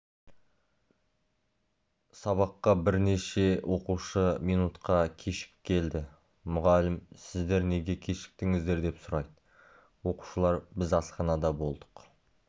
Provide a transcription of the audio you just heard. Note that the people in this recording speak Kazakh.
сабаққа бірнеше оқушы минутқа кешігіп келді мұғалім сіздер неге кешіктіңіздер деп сұрайды оқушылар біз асханада болдық